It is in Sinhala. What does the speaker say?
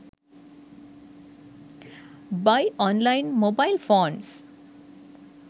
buy online mobile phones